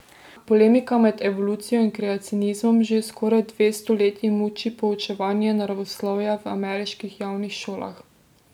Polemika med evolucijo in kreacionizmom že skoraj dve stoletji muči poučevanje naravoslovja v ameriških javnih šolah.